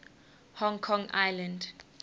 hong kong island